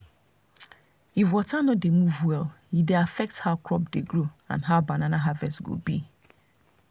if water no dey move well e dey affect how crop dey grow and how banana harvest go be